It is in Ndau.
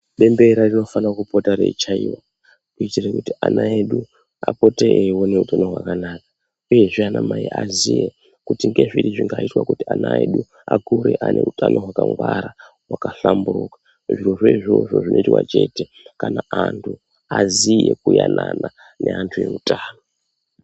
Bembera rinofana kupota reichaiwa kuitire kuti ana edu apote eiona upenyu hwakanaka uyezve ana mai aziye kuti ngezviri zvingaitwe kuti ana edu akure ane utano hwawakangwara wakakhalamburuka zvirozvo izvozvo zvinoitwa chete kana anthu aziya kuanana neanthu eutano.